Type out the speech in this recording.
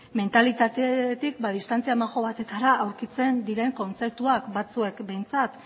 mentalitatetik distantzi majo batetara aurkitzen diren kontzeptuak batzuek behintzat